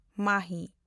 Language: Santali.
ᱢᱟᱦᱤ